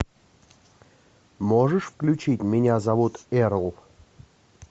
можешь включить меня зовут эрл